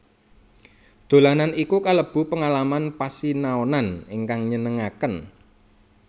Dolanan iku kalebu pengalaman pasinaonan ingkang nyenengaken